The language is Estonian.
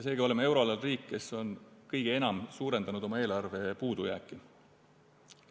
Seega oleme euroala riik, kes on kõige enam suurendanud oma eelarve puudujääki.